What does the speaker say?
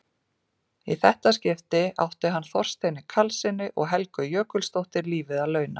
Í þetta skipti átti hann Þorsteini Karlssyni og Helgu Jökulsdóttur lífið að launa.